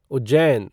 Ujjain